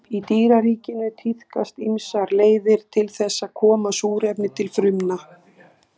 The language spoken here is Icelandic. Í dýraríkinu tíðkast ýmsar leiðir til þess að koma súrefni til frumna.